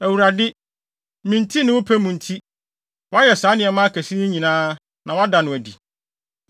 Awurade, me nti ne wo pɛ mu nti, woayɛ saa nneɛma akɛse yi nyinaa, na woada no adi.